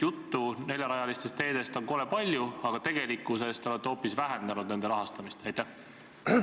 Juttu neljarealistest teedest on kole palju, aga tegelikkuses olete nende rahastamist hoopis vähendanud.